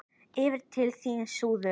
Yfir til þín, suður.